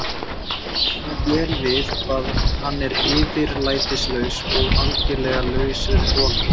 Hún kann svo vel við hvað hann er yfirlætislaus og algerlega laus við hroka.